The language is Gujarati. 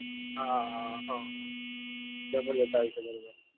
હા હ બરોબ